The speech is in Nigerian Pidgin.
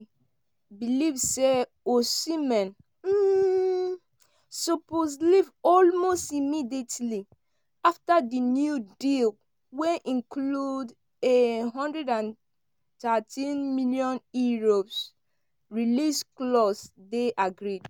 believe say osimhen um suppose “leave almost immediately” afta di new deal wey includes a one hundred and thirteen million euro release clause dey agreed.